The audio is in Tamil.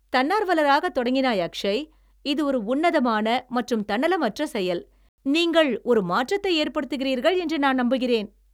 தன்னார்வலராக தொடங்கினாய், அக்‌ஷய்! இது ஒரு உன்னதமான மற்றும் தன்னலமற்ற செயல், நீங்கள் ஒரு மாற்றத்தை ஏற்படுத்துகிறீர்கள் என்று நான் நம்புகிறேன்.